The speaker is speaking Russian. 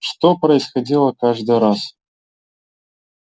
что происходило каждый раз